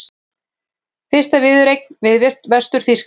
Fyrsta viðureignin við Vestur-Þýskaland